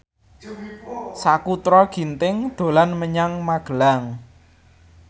Sakutra Ginting dolan menyang Magelang